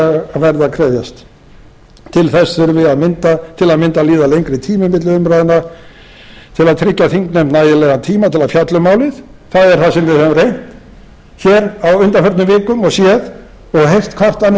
að krefjast til þess þurfi til að mynda að líða lengri tími milli umræðna til að tryggja þingnefnd nægilegan tíma til að fjalla um málið það er a sem við höfum reynt og séð á undanförnum vikum og séð og heyrt